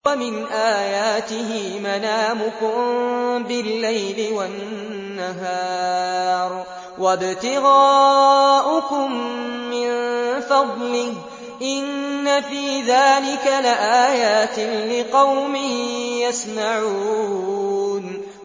وَمِنْ آيَاتِهِ مَنَامُكُم بِاللَّيْلِ وَالنَّهَارِ وَابْتِغَاؤُكُم مِّن فَضْلِهِ ۚ إِنَّ فِي ذَٰلِكَ لَآيَاتٍ لِّقَوْمٍ يَسْمَعُونَ